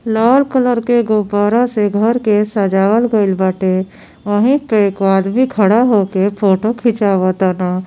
लाल colour के गुब्बारा से घर के सजावल गैल बाटे वहीं पे एक आदमी खड़ा होके फोटो खींचावताना।